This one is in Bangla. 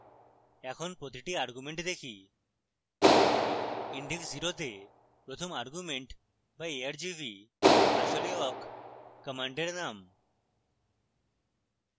এখন প্রতিটি arguments দেখি index 0 তে প্রথম arguments বা argv আসলে awk কমান্ডের নাম